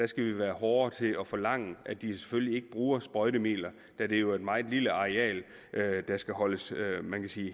skal vi være hårdere til at forlange at de selvfølgelig ikke bruger sprøjtemidler da det jo er et meget lille areal der skal holdes